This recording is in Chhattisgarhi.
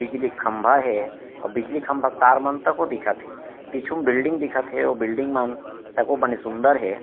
बिजली के खम्बा हे अउ बिजली खम्बा के तार मन त को दिखथे पीछू म बिल्डिंग दिखथे अउ बिल्डिंग मन ताको बने सुन्दर हे।